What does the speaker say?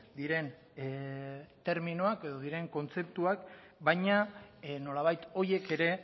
diren terminoak edo diren kontzeptuak baina nolabait horiek ere